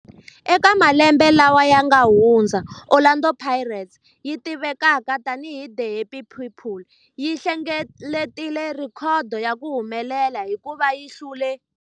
Eka malembe lawa yanga hundza, Orlando Pirates, leyi tivekaka tani hi 'The Happy People', yi hlengeletile rhekhodo ya ku humelela hikuva yi hlule